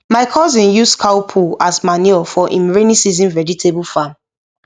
my cousin use cow poo as manure for him rainy season vegetable farm